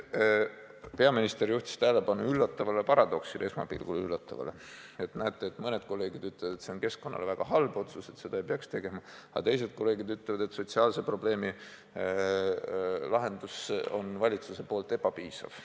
Peaminister juhtis tähelepanu üllatavale paradoksile – esmapilgul üllatavale –, et näete, mõned kolleegid ütlevad, et see on keskkonna jaoks väga halb otsus ja seda ei peaks tegema, aga teised kolleegid ütlevad, et sotsiaalse probleemi lahendus on valitsuse poolt ebapiisav.